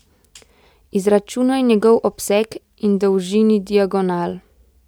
Izračunaj njegov obseg in dolžini diagonal.